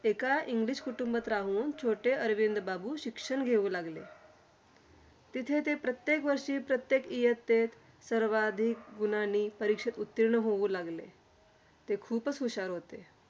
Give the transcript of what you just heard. एका english कुटुंबात राहून छोटे अरविंद बाबू शिक्षण घेऊ लागले. तिथे ते प्रत्येक वर्षी, प्रत्येक इयत्तेत सर्वाधिक गुणांनी परीक्षेत उत्तीर्ण होऊ लागले. ते खुपचं हुशार होते.